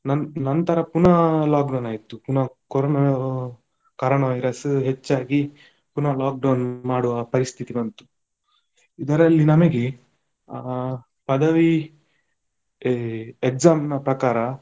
ನಂ~ ನಂತರ ಪುನಃ lockdown ಆಯ್ತು, ಪುನಃ ಕೊರೋನ, ಕೊರೋನ virus ಹೆಚ್ಚಾಗಿ ಪುನಃ lockdown ಮಾಡುವ ಪರಿಸ್ಥಿತಿ ಬಂತು ಇದರಲ್ಲಿ ನಮಗೆ ಆ ಪದವಿ ಎ exam ನ ಪ್ರಕಾರ.